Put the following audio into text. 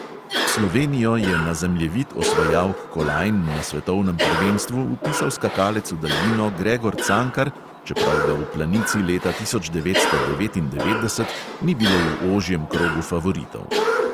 Slovenijo je na zemljevid osvajalk kolajn na svetovnem prvenstvu vpisal skakalec v daljino gregor cankar, čeprav ga v planici leta tisoč devetsto devetindevetdeset ni bilo v ožjem krogu favoritov.